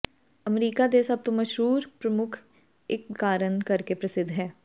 America ਦੇ ਸਭ ਤੋਂ ਮਸ਼ਹੂਰ ਪ੍ਰਮੁੱਖ ਇੱਕ ਕਾਰਨ ਕਰਕੇ ਪ੍ਰਸਿੱਧ ਹੈ